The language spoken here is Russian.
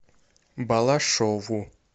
балашову